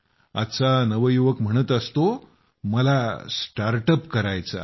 आजचा नवयुवक म्हणत असतो मला स्टार्टअप करायचं आहे